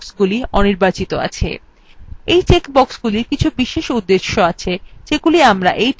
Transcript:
এই check বক্সগুলির কিছু বিশেষ উদ্দেশ্য আছে যেগুলি আমরা এই tutorialwe আলোচনা করবো না